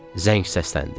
Zəng səsləndi.